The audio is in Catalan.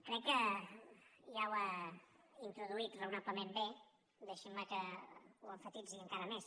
crec que ja ho ha introduït raonablement bé deixin me que ho emfatitzi encara més